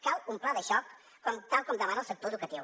cal un pla de xoc tal com demana el sector educatiu